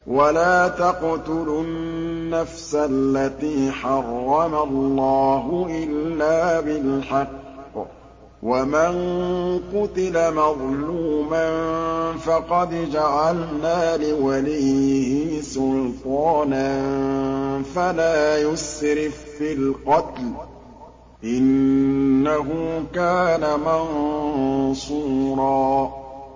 وَلَا تَقْتُلُوا النَّفْسَ الَّتِي حَرَّمَ اللَّهُ إِلَّا بِالْحَقِّ ۗ وَمَن قُتِلَ مَظْلُومًا فَقَدْ جَعَلْنَا لِوَلِيِّهِ سُلْطَانًا فَلَا يُسْرِف فِّي الْقَتْلِ ۖ إِنَّهُ كَانَ مَنصُورًا